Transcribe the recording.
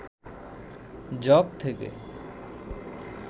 jug থেকে